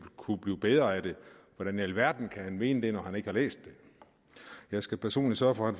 kunne blive bedre af det hvordan i alverden kan han mene det når han ikke har læst det jeg skal personligt sørge for at